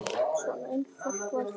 Svona einfalt var þetta.